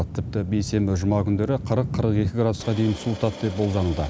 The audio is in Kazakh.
тіпті бейсенбі жұма күндері қырық қырық екі градусқа дейін суытады деп болжануда